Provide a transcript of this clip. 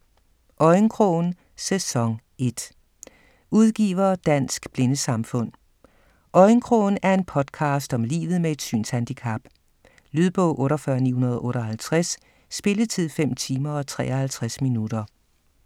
Øjenkrogen: sæson 1 Udgiver: Dansk Blindesamfund Øjenkrogen er en podcast om livet med et synshandicap. Lydbog 48958 Spilletid: 5 timer, 53 minutter.